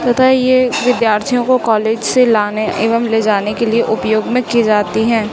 तथा ये विद्यार्थीयों को कॉलेज से लाने एवम लेजाने के लिए उपयोग मैं की जाती है।